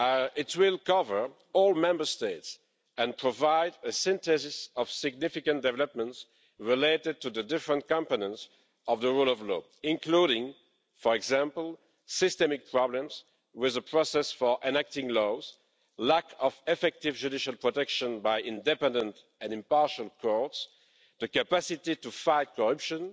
It will cover all Member States and provide a synthesis of significant developments related to the various competences of the rule of law, including for example, systemic problems with a process for enacting laws, lack of effective judicial protection by independent and impartial courts, the capacity to fight corruption,